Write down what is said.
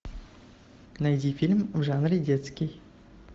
найди фильм в жанре детский